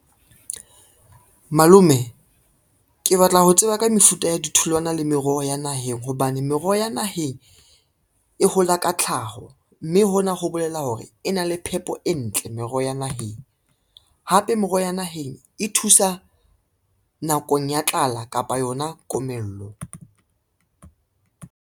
Malome, ke batla ho tseba ka mefuta ya ditholwana le meroho ya naheng hobane meroho ya naheng e hola ka tlhaho, mme hona ho bolela hore hore e na le phepo e ntle meroho ya naheng, hape meroho ya naheng e thusa nakong ya tlala kapa yona komello.